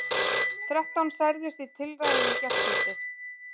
Þrettán særðust í tilræðinu í gærkvöldi